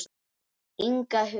Inga Huld.